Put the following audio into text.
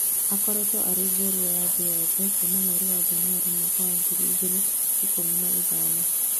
Akoretwo arĩ njorua ya thĩ yothe kuma mweri wa Januarĩ mwaka wa ngiri igĩrĩ ikũmi na ithano